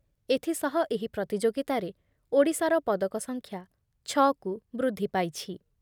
ଏଥିସହ ଏହି ପ୍ରତିଯୋଗିତାରେ ଓଡ଼ିଶାର ପଦକ ସଂଖ୍ୟା ଛଅକୁ ବୃଦ୍ଧି ପାଇଛି ।